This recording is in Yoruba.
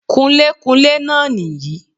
Kunlékunlé náà nì yí